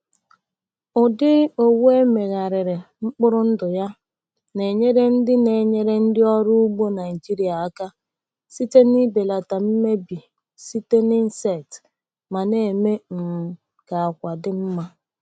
Ụdị owu e megharịrị mkpụrụ ndụ ya na-enyere ndị na-enyere ndị ọrụ ugbo Naijiria aka site n’ịbelata mmebi site n’insects ma na-eme um ka àkwà dị mma.